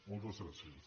moltes gràcies